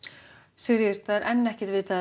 Sigríður það er enn ekkert vitað